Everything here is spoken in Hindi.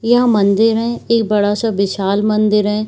यह मंदिर है एक बड़ा सा विशाल मंदिर है।